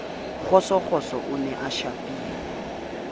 kgosokgoso o ne a shapilwe